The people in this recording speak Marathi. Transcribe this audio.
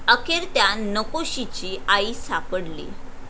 अखेर त्या 'नकोशी'ची आई सापडली